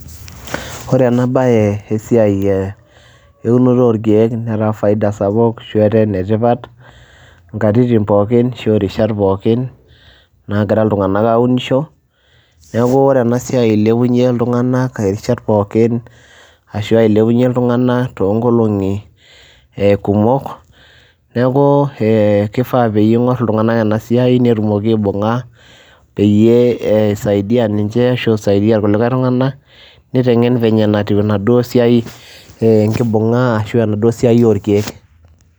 ore eena bae eunore orkeeke netaa ene faida sapuk, ashu etaa ene tipat inkatitin pookin ashu irishat pookin, naagira iltung'anak aunisho. neeku ore ena siai eilepunye iltung'anak, irishat pooin, ashu ilepunye iltung'anak, too nkolung'i kumok. neeku kifaa pee ing'or iltung'anak ena siai netumoki aibung'a peyie eisaidia ninche ashu isaidia irkulie tung'anak, niteng'en v venye natiu enaduoo siai enkibung'a ashu enaduoo siai orkeek.